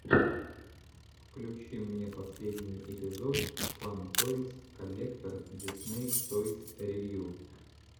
включи мне последний эпизод фан тойс коллектор дисней тойс ревью